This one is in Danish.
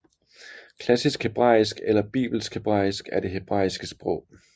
Klassisk hebraisk eller bibelsk hebraisk er det hebraiske sprog